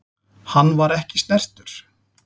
Hann var ekki snertur.